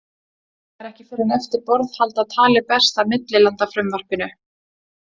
Það er ekki fyrr en eftir borðhald að talið berst að millilandafrumvarpinu.